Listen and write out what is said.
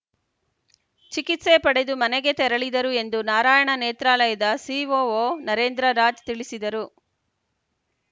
ಚಿಕಿತ್ಸೆ ಪಡೆದು ಮನೆಗೆ ತೆರಳಿದರು ಎಂದು ನಾರಾಯಣ ನೇತ್ರಾಲಯದ ಸಿಒಒ ನರೇಂದ್ರ ರಾಜ್‌ ತಿಳಿಸಿದರು